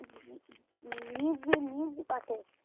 নিজ নিজ পাঠে